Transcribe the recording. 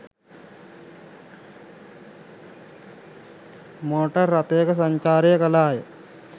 Motor රථයක සංචාරය කළාය.